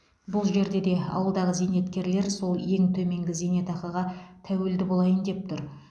бұл жерде де ауылдағы зейнеткерлер сол ең төменгі зейнетақыға тәуелді болайын деп тұр